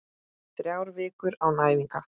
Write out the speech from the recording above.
Þrjár vikur án æfinga?